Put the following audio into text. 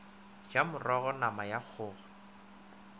ja morogo nama ya kgogo